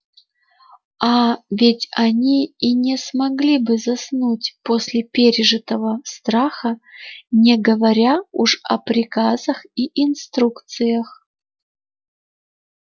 аа ведь они и не смогли бы заснуть после пережитого страха не говоря уж о приказах и инструкциях